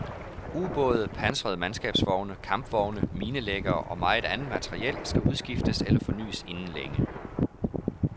Ubåde, pansrede mandskabsvogne, kampvogne, minelæggere og meget andet materiel skal udskiftes eller fornys inden længe.